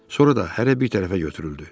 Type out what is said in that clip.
Sonra da hərə bir tərəfə götürüldü.